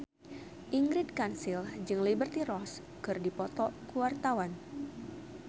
Ingrid Kansil jeung Liberty Ross keur dipoto ku wartawan